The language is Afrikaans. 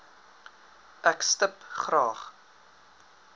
ek stip graag